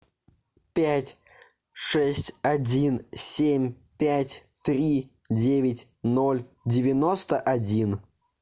пять шесть один семь пять три девять ноль девяносто один